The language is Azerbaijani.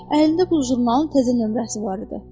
Əlində bu jurnalın təzə nömrəsi var idi.